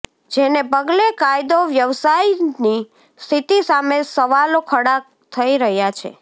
જેને પગલે કાયદો વ્યવસ્થાની સ્થિતિ સામે સવાલો ખડા થઈ રહ્યા છે